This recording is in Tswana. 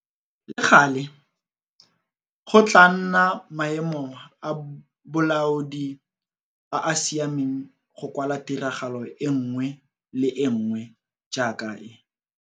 Le gale, go tlaa nna maemo a bolaodi a a siameng go kwala tiragalo e nngwe le e nngwe jaaka e.